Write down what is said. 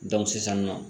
sisan nɔ